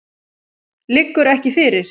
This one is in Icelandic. Liggur ekki fyrir.